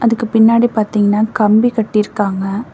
அதுக்கு பின்னாடி பாத்திங்னா கம்பி கட்டிருக்காங்க.